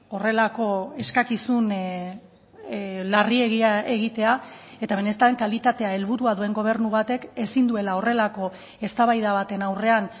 horrelako eskakizun larriegia egitea eta benetan kalitatea helburua duen gobernu batek ezin duela horrelako eztabaida baten aurrean